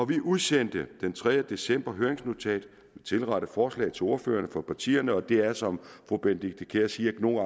vi udsendte den tredje december høringsnotatet og et tilrettet forslag til ordførerne for partierne det er som fru benedikte kiær siger nogle